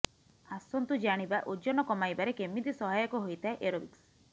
ଆସନ୍ତୁ ଜାଣିବା ଓଜନ କମାଇବାରେ କେମିତି ସହାୟକ ହୋଇଥାଏ ଏରୋବିକ୍ସ